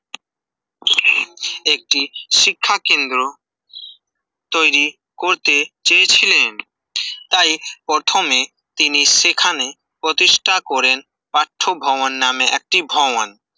একটি শিক্ষা কেন্দ্র তৈরি করতে চেয়েছিলেন তাই প্রথমে তিনি সেখানে প্রতিষ্ঠা করেন পাঠ্যভবন নামে একটি ভবন